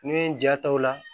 N'i ye n ja ta o la